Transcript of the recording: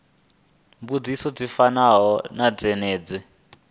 mbudziso dzi fanaho na dzenedzo